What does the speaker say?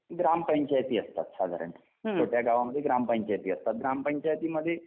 ग्रामपंचायती असतात साधारण तर त्या गावामध्ये ग्रामपंचायती असतात ग्रामपंचायतीमध्ये